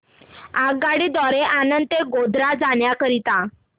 आगगाडी द्वारे आणंद ते गोध्रा जाण्या करीता